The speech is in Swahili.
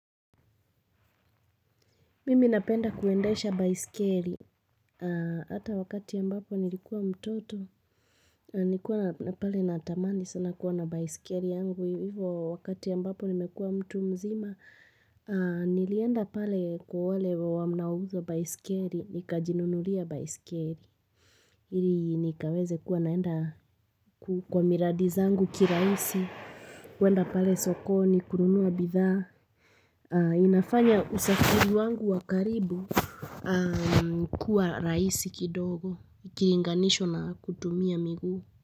Mimi napenda kuendesha baiskeli. Hata wakati ambapo nilikuwa mtoto. Nilikuwa na pale na tamani sana kuwa na baiskeli yangu. Hivyo wakati ambapo nimekuwa mtu mzima. Nilienda pale kwa wanauza baisikeli. Nikajinunulia baisikeli. Ili nikaweze kuwa naenda kwa miradizangu kirahisi. Kuenda pale sokoni kununua bidhaa. Inafanya usafiri wangu wakaribu. Kuwa raisi kidogo kikilinganishwa na kutumia miguu.